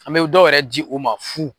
An bɛ dɔw yɛrɛ di u ma fu.